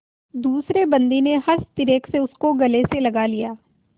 दूसरे बंदी ने हर्षातिरेक से उसको गले से लगा लिया